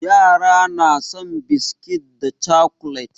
Yara na son biskit da cakulet.